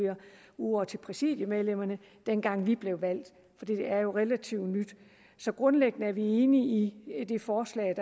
over dem til præsidiemedlemmerne dengang vi blev valgt for det er jo noget relativt nyt så grundlæggende er vi enige i det forslag